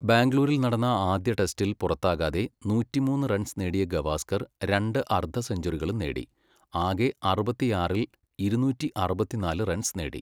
ബാംഗ്ലൂരിൽ നടന്ന ആദ്യ ടെസ്റ്റിൽ പുറത്താകാതെ നൂറ്റിമൂന്ന് റൺസ് നേടിയ ഗവാസ്കർ രണ്ട് അർധസെഞ്ചുറികളും നേടി, ആകെ അറുപത്തിയാറിൽ ഇരുന്നൂറ്റി അറുപത്തിന്നാല് റൺസ് നേടി.